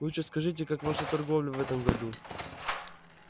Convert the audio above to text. лучше скажите как ваша торговля в этом году